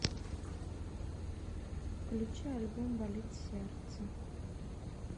включи альбом болит сердце